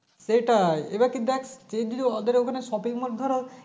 সেটাই এবার কি দেখ সে যদি ওদের ওখানে Shopping mall ধরো